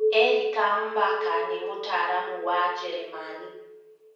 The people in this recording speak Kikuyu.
Erika Mbaka nĩ mũtaaramu wa Njeremani.